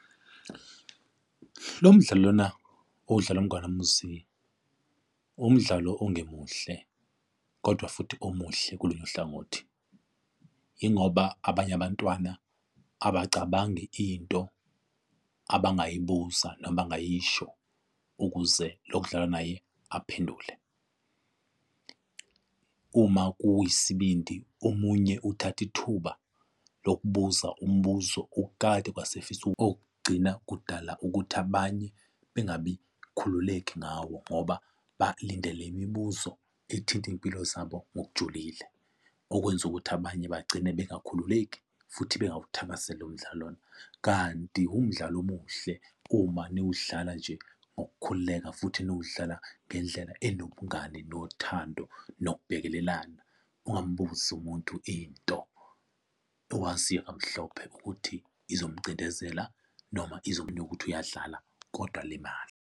Lo mdlalo lona okudlalwa umngani wami uMzi, umdlalo ongemuhle, kodwa futhi omuhle kolunye uhlangothi. Yingoba abanye abantwana abacabangi into abangayibuza noma abangayisho ukuze lokudlala naye aphendule. Uma kuyisibindi omunye uthatha ithuba lokubuza umbuzo okukade kwase efisa okugcina kudala ukuthi abanye bengabi khululeke ngawo ngoba balindele imibuzo ezithinta iy'mpilo zabo ngokujulile, okwenza ukuthi abanye begcine bengakhululeki futhi bengawuthakasela lo mdlalo lona. Kanti umdlalo omuhle uma niwudlala nje ngokukhululeka futhi niwudlala ngendlela enobungani nothando nokubekezelelana. Ungambuzi umuntu into owaziyo kamhlophe ukuthi izomcindezela noma izomnika ukuthi uyadlala, kodwa alimale.